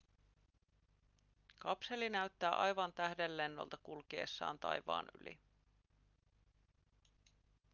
kapseli näyttää aivan tähdenlennolta kulkiessaan taivaan yli